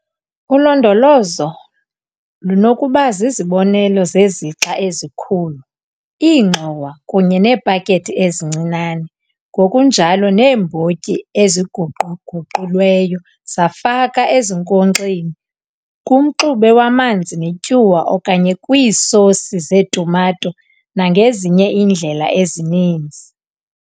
Ulondolozo lunokuba zizibonelelo zezixa ezikhulu, iingxowa, kunye neepakethi ezincinane ngokunjalo neembotyi eziguqu-guqulweyo zafakwa ezinkonkxeni kumxube wamanzi netyuwa okanye kwiisosi zetumato nangezinye iindlela ezininzi.